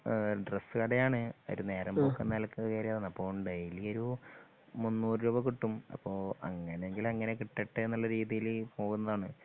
ആ ഡ്രസ്സ് കടയാണ് ഒരു നേരമ്പോക്കെന്ന നിലക്ക് കേറിയതാണ് അപ്പൊ ഡെയിലി ഒരു മുന്നൂറു രുപ കിട്ടും അപ്പൊ അങ്ങനെയെങ്കിൽ അങ്ങനെ കിട്ടട്ടെന്നുള്ള രീതിയിൽ ഡെയിലി പോകുന്നതാണ്.